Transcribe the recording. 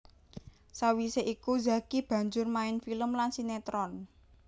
Sawisé iku Zacky banjur main film lan sinetron